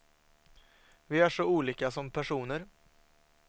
Vi är så olika som personer.